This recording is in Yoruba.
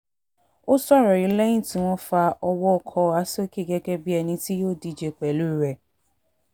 ó sọ̀rọ̀ yìí lẹ́yìn tí wọ́n fa owó owó ọkọ̀wà sókè gẹ́gẹ́ bíi ẹni tí yóò díje pẹ̀lú rẹ̀